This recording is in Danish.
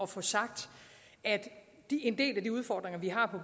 få sagt at en del af den udfordring vi har på